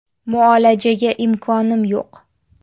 Muolajaga imkonim yo‘q.